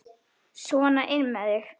Sona inn með þig!